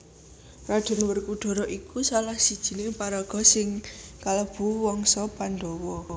Raden Werkudara iku salah sijining paraga sing kalebu wangsa Pandhawa